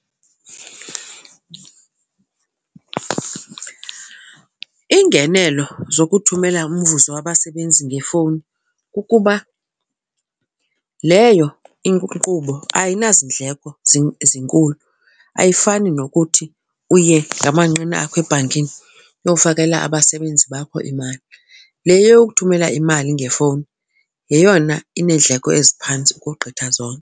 Iingenelo zokuthumela umvuzo wabasebenzi ngefowuni kukuba leyo inkqubo ayinazindleko zinkulu, ayifani nokuthi uye ngamanqina akho ebhankini uyokufakela abasebenzi bakho imali. Le yokuthumela imali ngefowuni yeyona ineendleko eziphantsi ukogqitha zonke.